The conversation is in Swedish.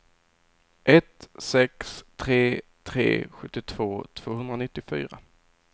ett sex tre tre sjuttiotvå tvåhundranittiofyra